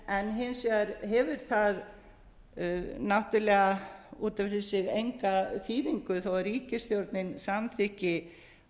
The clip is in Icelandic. en hins vegar hefur það náttúrlega út f fyrir sig enga þýðingu þó ríkisstjórnin samþykki